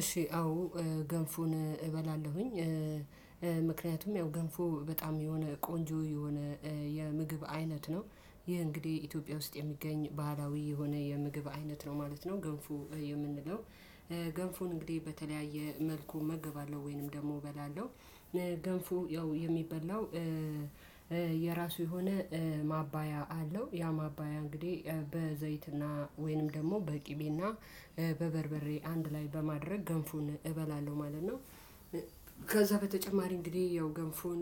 እሺ አዎ ገንፎን እበላለሁኝ። ምክንያቱም ያው ገንፎ በጣም የሆነ ቆንጆ የሆነ የምግብ አይነት ነው። ይሄ እንግዲህ ኢትዮጵያ ውስጥ የሚገኝ ባህላዊ የሆነ የምግብ አይነት ነው ማለት ነው ገንፉ የምንለው። ገንፎ እንግዲህ በተለያየ መልኩ እመገባለው ወይንም ደግሞ እበላለሁ። ገንፎ ያው የሚበላው የራሱ የሆነ ማባያ አለው። ያ ማባያ እንግዲህ በዘይትና ወይንም ደግሞ በቂቤና በበርበሬ አንድ ላይ በማድረግ ገንፎን እበላለሁ ማለት ነው። ከዛ በተጨማሪ እንግዲህ ያው ገንፎን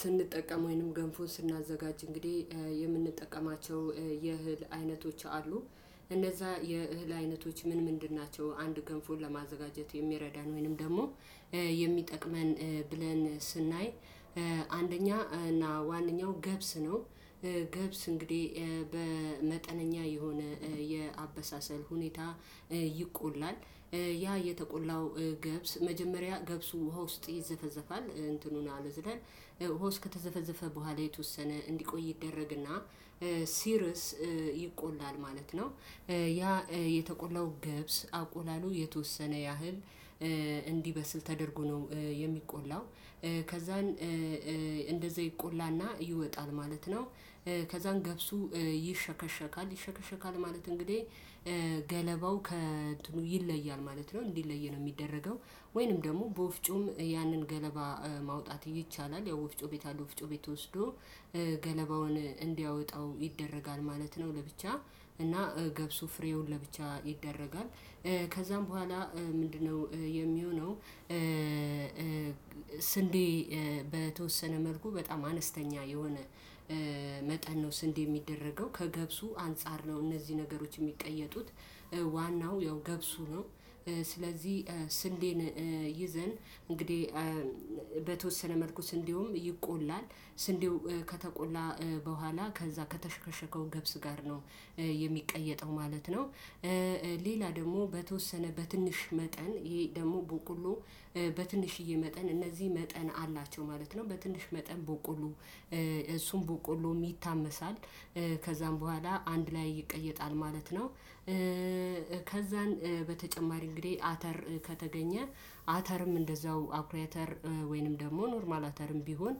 ስንጠቀም ወይንም ገንፎን ስናዘጋጅ እንግዲህ የምንጠቀማቸው የእህል አይነቶች አሉ። እነዛ የእህል አይነቶች ምን ምንድን ናቸው? አንድ ገንፎን ለማዘጋጀት የሚረዳን ወይንም ደግሞ የሚጠቅመን ብለን ስናይ አንደኛ እና ዋነኛው ገብስ ነው። ገብስ እንግዲህ በመጠነኛ የሆነ የአበሳሰል ሁኔታ ይቆላል። ያ የተቆላው ገብስ መጀመሪያ ገብሱ ውሃ ውስጥ ይዘፈዘፋል እንትኑን አልዝለን ዉሃ ከተዘፈዘፈ በኋላ የተወሰነ እንዲቆይ ይደረግና ሲርስ ይቆላል ማለት ነው። ያ የተቆላው ገብስ አቆላሉ የተወሰነ ያህል እንዲበስል ተደርጎ ነው የሚቆላው። ከዛን እንደዚያ ይቆላና ይወጣል ማለት ነው። ከዛን ገብሱ ይሸከሸካል ይሸከሸካል ማለት እንግዲህ ገለባው ከእንትኑ ይለያል ማለት ነው እንዲለይ ነው ሚደረገው። ወይንም ደሞ በወፍጮም ያንን ገለባ ማውጣት ይቻላል። ያው ወፍጮ ቤት አለው ወፍጮ ቤት ወስዶ ገለባውን እንዲያወጣው ይደረጋል ማለት ነው። ለብቻ እና ገብሱ ፍሬውን ለብቻ ይደረጋል። ከዛም በኋላ ምንድነው? የሚሆነው ስንዴ በተወሰነ መልኩ በጣም አነስተኛ የሆነ መጠን ነው ስንዴ ሚደረገው ከገብሱ አንፃር ነው እነዚህ ነገሮች እሚቀየጡት ዋናው ያው ገብሱ ነው። ስለዚህ ስንዴን ይዘን እንግዲህ በተወሰነ መልኩስ እንዲሁም ይቆላል ስንዴው ከተቆላ በኋላ ከዛ ከተሸከሸከው ገብስ ጋር ነው የሚቀየጠው ማለት ነው። ሌላ ደሞ በተወሰነ በትንሽ መጠን ይሄ ደሞ ቦቆሎ በትንሽዬ መጠን እነዚህ መጠን አላቸው ማለት ነው በትንሽ መጠን በቆሎ እሱን በቆሎ ይታመሳል። ከዛም በኋላ አንድ ላይ ይቀየጣል ማለት ነው። ከዛን በተጨማሪ እንግዲህ አተር ከተገኘ አተርም እንዳዛው አኩሪ አተር ወይንም ደግሞ ኖርማል አተርም ቢሆን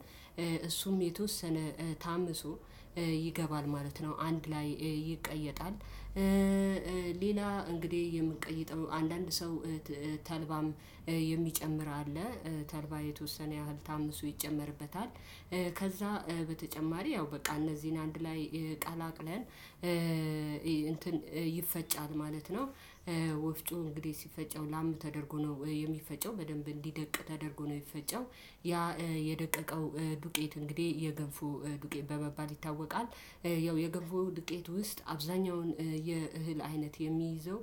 እሱም የተወሰነ ታምሶ ይገባል ማለት ነው አንድ ላይ ይቀየጣል። ሌላ እንግዲህ የምንቀይጠው አንዳንድ ሰው ተልባም የሚጨምር አለ ተልባ የተወሰነ ያህል ታምሶ ይጨመርበታል። ከዛ በተጨማሪ ያው በቃ እነዚህን አንድ ላይ ቀላቅለን እንትን ይፈጫል ማለት ነው። ወፍጮ እንግዲህ ሲፈጨው ላም ተደርጎ ነው የሚፈጨው በደንብ እንዲደቅ ተደርጎ ነው የፈጨው ያ የደቀቀው ዱቄት እንግዲህ የገንፎ ዱቄት በመባል ይታወቃል። ያው የገንፎ ድቄት ውስጥ አብዛኛውን የእህል አይነት የሚይዘው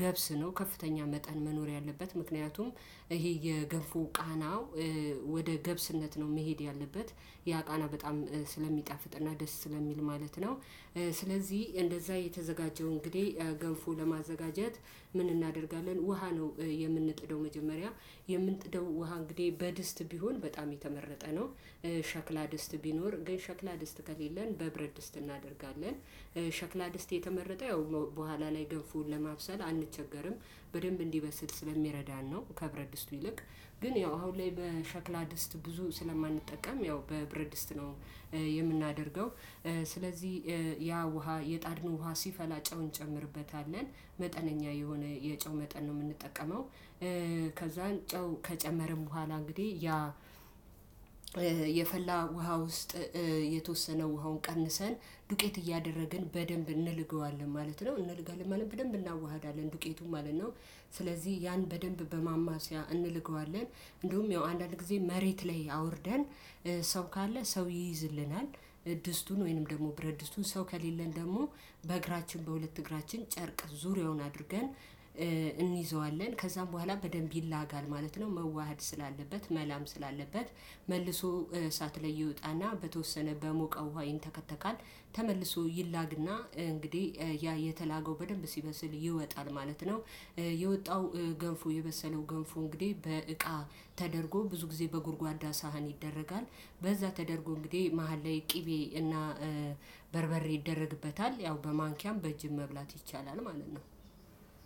ገብስ ነው ከፍተኛ መጠን መኖር ያለበት ምክንያቱም እሄ የገፎ ቃናው ወደ ገብስነት ነው መሄድ ያለበት ያ ቃና በጣም ስለሚጣፍጥና ደስ ስለሚል ማለት ነው። ስለዚህ እንደዛ የተዘጋጀው እንግዲህ ገንፎ ለማዘጋጀት ምን እናደርጋለን ውሃ ነው የምንጥደው መጀመሪያ የምንጥደው ውሃ እንግዲህ በድስት ቢሆን በጣም የተመረጠ ነው። ሸክላ ድስት ቢኖር ግን ሸክላ ድስት ከሌለን በብረድስት እናደርጋለን። ሸክላ ድስት የተመረጠ ያው በኋላ ላይ ገንፎውን ለማብሰል አንቸገርም። በደንብ እንዲበስል ስለሚረዳን ነው ከብረድእስቱ ይልቅ ግን ያው አሁን ላይ በሸክላ ድስት ብዙ ስለማንጠቀም ያው በብረድስት ነው የምናደርገው። ስለዚህ ያ ውሃ የጣድነው ውሃ ሲፈላ ጨው እንጨምርበታለን መጠነኛ የሆነ የጨው መጠን ነው ምንጠቀመው። ከዛን ጨው ከጨመርን በኋላ እንግዲህ ያ የፈላ ውሃ ውስጥ የተወሰነ ውሃውን ቀንሰን ዱቄት እያደረግን በደንብ እንልገዋለን ማለት ነው እንልገዋለን ማለት በደንብ እናዋሃዳለን ዱቄቱ ማለት ነው። ስለዚህ ያን በደንብ በማማሲያ እንልገዋለን እንደውህም ያው አንዳንድ ጊዜ መሬት ላይ አውርደን ሰው ካለ ሰው ይይዝልናል። ድስቱን ወይንም ደግሞ ብረድስቱን ሰው ከሌለን ደግሞ በእግራችን በሁለት እግራችን ጨርቅ ዙሪያውን አድርገን እንይዘዋለን። ከዛም በኋላ በደንብ ይላጋል ማለት ነው። መዋሃድ ስላለበት መላም ስላለበት፤ መልሶ እሳት ላይ ይወጣና በተወሰነ በሞቀ ውሃ ይንተከተካል። ተመልሶ ይላግና እንግዲህ ያ የተላገው በደንብ ሲበስል ይወጣል ማለት ነው። የወጣው ገንፎ የበሰለው ገንፉ እንግዲህ በእቃ ተደርጎ ብዙ ጊዜ በጉድጓዳ ሳህን ይደረጋል። በዛ ተደርጎ እንግዲህ መሃል ላይ ቅቤ እና በርበሬ ይደረግበታል። ያው በማንኪያም በእጅም መብላት ይቻላል ማለት ነው።